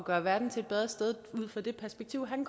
gøre verden til et bedre sted ud fra det perspektiv han